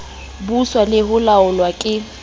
buswa le ho laolwa ke